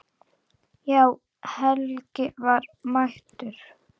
Já, Helgi var mættur.